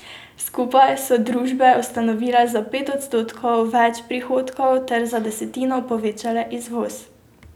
Skupaj so družbe ustvarile za pet odstotkov več prihodkov ter za desetino povečale izvoz.